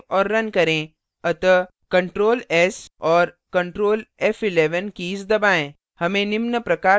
अब file को so और now करें अतः ctrl & s और ctrl & f11 कीज दबाएँ